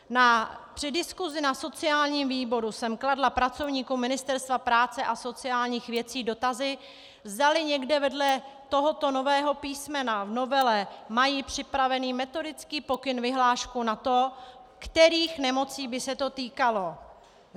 Při diskusi na sociálním výboru jsem kladla pracovníkům Ministerstva práce a sociálních věcí dotazy, zdali někde vedle tohoto nového písmena v novele mají připravený metodický pokyn, vyhlášku na to, kterých nemocí by se to týkalo.